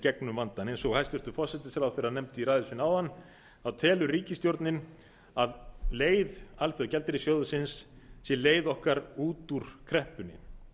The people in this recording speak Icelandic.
gegnum vandann eins og hæstvirtur forsætisráðherra nefndi í ræðu sinni áðan telur ríkisstjórnin að leið alþjóðagjaldeyrissjóðsins sé leið okkar út úr kreppunni